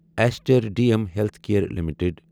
Easter D M healthcare limited